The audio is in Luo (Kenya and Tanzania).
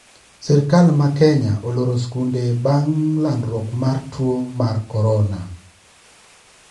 Sirkal ma Kenya oloro skunde bang` landruok mar tuo mar corona